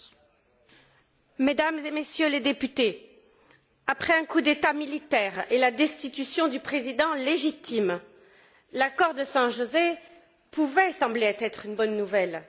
Monsieur le Président, Mesdames et Messieurs les députés, après un coup d'État militaire et la destitution du président légitime, l'accord de San José pouvait sembler être une bonne nouvelle.